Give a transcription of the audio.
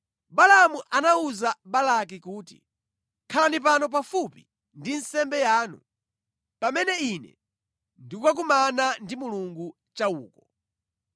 Balaamu anawuza Balaki kuti, “Khalani pano pafupi ndi nsembe yanu pamene ine ndikukakumana ndi Mulungu cha uko.”